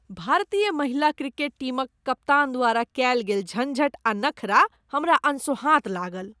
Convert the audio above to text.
भारतीय महिला क्रिकेट टीमक कप्तान द्वारा कएल गेल झंझट आ नखरा हमरा अनसोहाँत लागल।